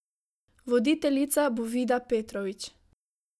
Voditeljica bo Vida Petrovčič.